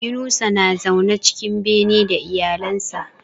Yunusa na zaune cikin bene da iyalan sa